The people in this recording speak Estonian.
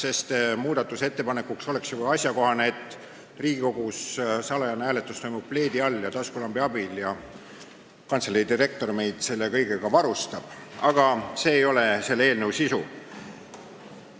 Asjakohane muudatusettepanek ju oleks, et salajane hääletus Riigikogus toimuks pleedi all ja taskulambi abil ning kantselei direktor meid selle kõigega varustaks, aga see ei ole selle eelnõu sisu.